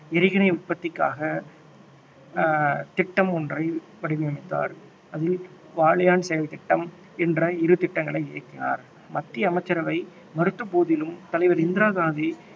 எறிகணை உற்பத்திக்காக அஹ் திட்டம் ஒன்றை வடிவமைத்தார். அதில் வாலியன்ட் செயல் திட்டம் என்ற இரு திட்டங்களை இயக்கினார் மத்திய அமைச்சரவை மறுத்த போதிலும் தலைவர் இந்திரா காந்தி